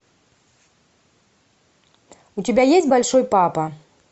у тебя есть большой папа